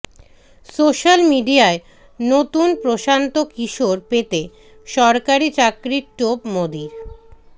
social মিডিয়ায় নতুন প্রশান্ত কিশোর পেতে সরকারি চাকরির টোপ মোদীর